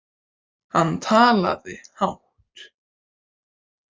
Hann talaði hátt.